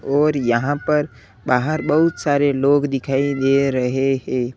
और यहां पर बाहर बहुत सारे लोग दिखाई दे रहे हैं।